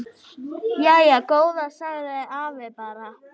Jæja góða sagði afi bara.